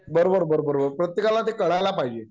बरोबर बरोबर बरोबर प्रत्येकाला ते कळायला पाहिजे